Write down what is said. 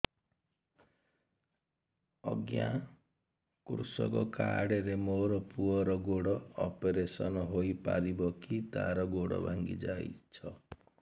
ଅଜ୍ଞା କୃଷକ କାର୍ଡ ରେ ମୋର ପୁଅର ଗୋଡ ଅପେରସନ ହୋଇପାରିବ କି ତାର ଗୋଡ ଭାଙ୍ଗି ଯାଇଛ